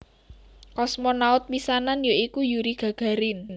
Kosmonaut pisanan ya iku Yuri Gagarin